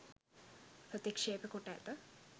ප්‍රතික්ෂේප කොට ඇත